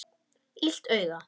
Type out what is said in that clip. Illt auga.